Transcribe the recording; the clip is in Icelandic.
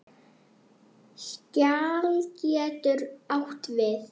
Skjal getur átt við